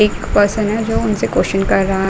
एक पर्सन है जो उनसे क्वेश्चन कर रहा --